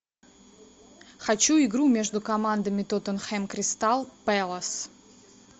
хочу игру между командами тоттенхэм кристал пэлас